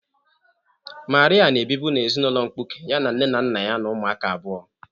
Maria na ebibu na ezinụlọ mkpuke, ya na nne na nna ya na umuaka abụọ.